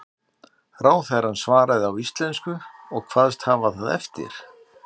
Ráðherrann svaraði á íslensku og kvaðst hafa það eftir